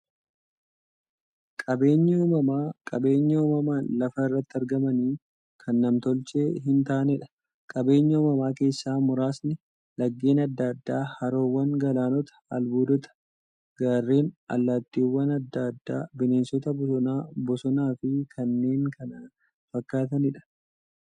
Qaabeenyi uumamaa qabeenya uumamaan lafa irratti argamanii, kan nam-tolchee hintaaneedha. Qabeenya uumamaa keessaa muraasni; laggeen adda addaa, haroowwan, galaanota, albuudota, gaarreen, allattiiwwan adda addaa, bineensota bosonaa, bosonafi kanneen kana fakkataniidha.